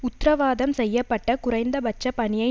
உத்தரவாதம் செய்ய பட்ட குறைந்த பட்சப் பணியை